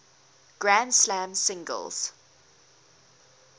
grand slam singles